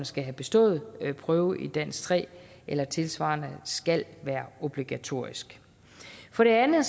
skal have bestået prøve i dansk tre eller tilsvarende skal være obligatorisk for det andet